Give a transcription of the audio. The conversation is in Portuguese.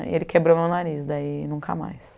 E ele quebrou meu nariz, daí nunca mais.